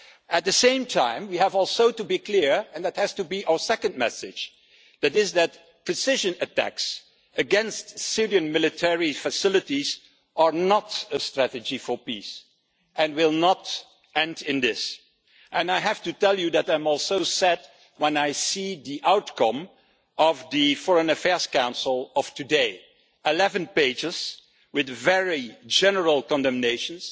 At the same time, we also have to be clear and that has to be our second message that precision attacks against civilian military facilities are not a strategy for peace and will not end in this. I have to tell you that I am also sad when I see the outcome of the Foreign Affairs Council of today eleven pages with a very general condemnation